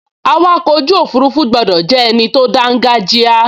Awakọ̀ ojú òfurufú gbọdọ̀ jẹ́ ẹni tó dángájíá